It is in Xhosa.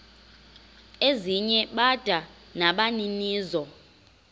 ezinye bada nabaninizo